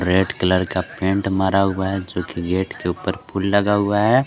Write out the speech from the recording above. Red colour का paint मारा हुआ है जो कि गेट के ऊपर फूल लगा हुआ है।